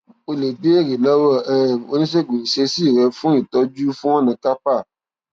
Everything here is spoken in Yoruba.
o lè béèrè lọwọ um oníṣègùn ìṣesí rẹ fún ìtọjú fún ọnà carpal